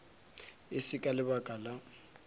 e se ka lebaka la